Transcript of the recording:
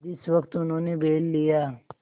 जिस वक्त उन्होंने बैल लिया